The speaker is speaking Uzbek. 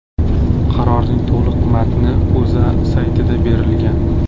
Qarorning to‘liq matni O‘zA saytida berilgan .